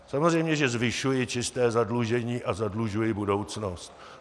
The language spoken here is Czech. Samozřejmě že zvyšuji čisté zadlužení a zadlužuji budoucnost.